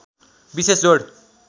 विशेष जोड